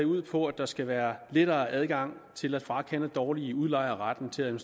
ud på at der skal være lettere adgang til at frakende dårlige udlejere retten til at